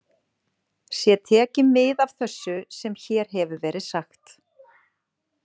Sé tekið mið af þessu sem hér hefur verið sagt.